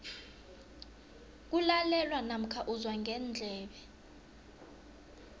kulalelwa namkha uzwa ngendlebe